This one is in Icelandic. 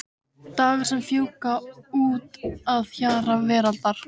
Dagar sem fjúka út að hjara veraldar.